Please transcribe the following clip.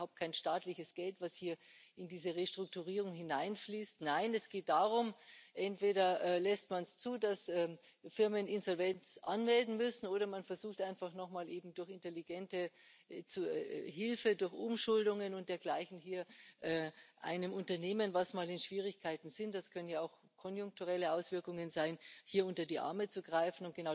Das ist überhaupt kein staatliches Geld, das hier in diese Restrukturierung hineinfließt. Nein, es geht darum Entweder lässt man es zu, dass Firmen Insolvenz anmelden müssen, oder man versucht einfach noch mal, durch intelligente Hilfe, durch Umschuldungen und dergleichen einem Unternehmen, das mal in Schwierigkeiten ist das können auch konjunkturelle Auswirkungen sein unter die Arme zu greifen.